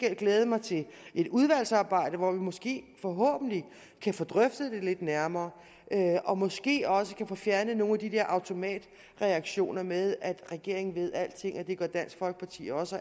jeg glæde mig til et udvalgsarbejde hvor vi måske forhåbentlig kan få drøftet det lidt nærmere og måske også kan få fjernet nogle af de der automatreaktioner med at regeringen ved alting og at det gør dansk folkeparti også